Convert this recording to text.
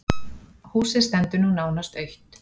Húsið stendur nú nánast autt.